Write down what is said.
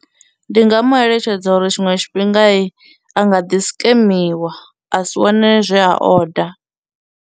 Ndi nga mu eletshedza uri tshiṅwe tshifhinga a nga ḓi skemiwa a si wane zwe a order.